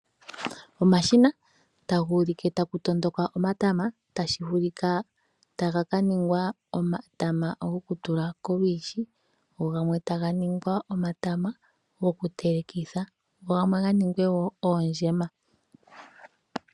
Omashina taga tondoka omatama, tashi vulika ta ga ka ningwa omatama go ku tula kolwiishi. Gamwe ota ga ningi omatama goku telekitha, gamwe ga ningwe woo oondjema.